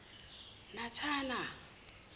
natana